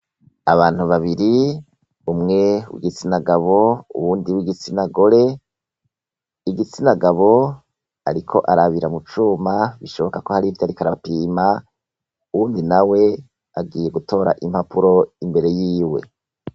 Abantu babiri umwe we igitsinagabo uwundi w'igitsinagore igitsinagabo, ariko arabira mucuma bishoboka ko hari ivyo arikoarapima uwundi na we agiye gutora impapuro imbere yiwe.